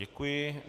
Děkuji.